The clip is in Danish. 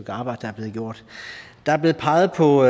arbejde der er blevet gjort der er blevet peget på